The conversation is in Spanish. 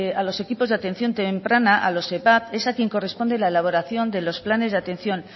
a los equipos de atención temprana a los evat es a quien corresponde la elaboración de los planes de atención